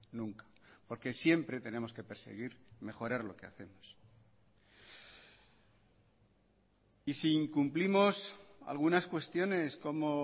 nunca porque siempre tenemos que perseguir mejorar lo que hacemos y si incumplimos algunas cuestiones como